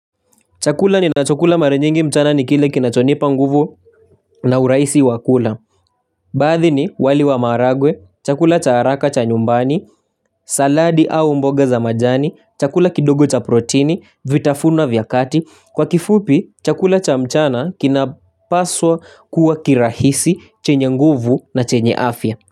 Chakula ninachokula mara nyingi mchana ni kile kinachonipa nguvu na urahisi wa kula baadhi ni wali wa maharagwe chakula cha haraka cha nyumbani saladi au mboga za majani chakula kidogo cha proteini vitafuno vya kati kwa kifupi chakula cha mchana kinapaswa kuwa kirahisi chenye nguvu na chenye afya.